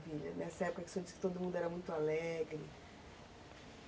Nessa época que o senhor disse que todo mundo era muito alegre.